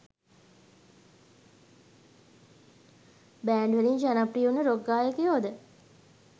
Band වලින් ජනප්‍රිය උන රොක් ගායකයොද?